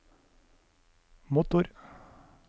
motor